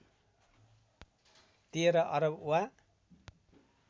१३ अरब वा